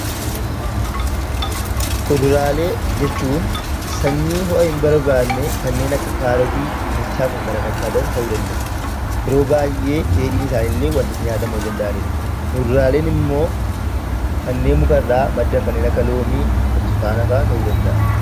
Kuduraalee jechuun sanyii ho'a hin barbaanne kanneen akka kaarotii dinnichaa fi kan kana fakkaatan ta'uu danda'u. Yeroo baay'ee dheedhiin isaanii illee nyaatamuu ni danda'a. Muduraan immoo kanneen mukarraa maddan kanneen akka loomii, burtukaana fa'aa ta'uu danda'a